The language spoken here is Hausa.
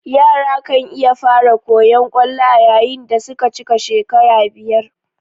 Yara kan iya fara koyan kwallo ayayin dasuka cika shekara biyar